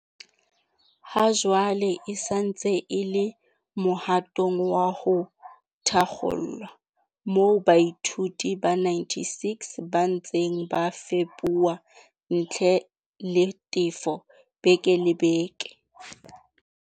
Hajwale e sa ntse e le mohatong wa ho thakgolwa moo baithuti ba 96 ba ntseng ba fepuwa ntle le tefo beke le beke.